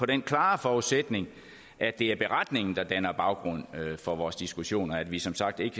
den klare forudsætning at det er beretningen der danner baggrund for vores diskussioner og at vi som sagt ikke